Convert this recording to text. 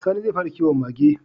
Sani zai fara kiwon Mage